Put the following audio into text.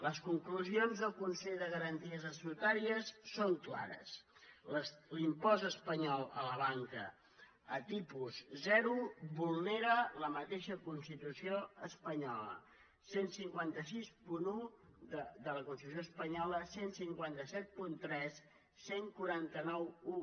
les conclusions del consell de garanties estatutàries són clares l’impost espanyol a la banca a tipus zero vulnera la mateixa constitució espanyola quinze seixanta u de la constitució espanyola quinze setanta tres catorze noranta u